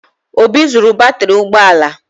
Obi zuru batrị ụgbọ ala m